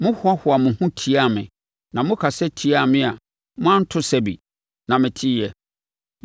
Mohoahoaa mo ho tiaa me na mokasa tiaa me a moanto sɛbe, na meteeɛ.